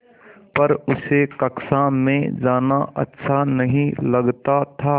पर उसे कक्षा में जाना अच्छा नहीं लगता था